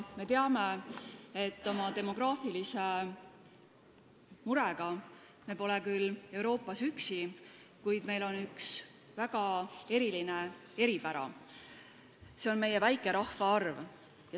Me teame, et oma demograafilise murega pole me küll Euroopas üksi, kuid meil on üks väga suur eripära, see on meie väike rahvaarv.